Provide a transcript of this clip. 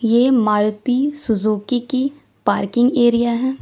एक मारुती सुजुकी की parking area है।